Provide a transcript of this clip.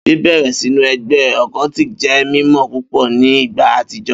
Bibẹrẹ sinu ẹgbẹ occultic jẹ mimọ pupọ ni igba atijọ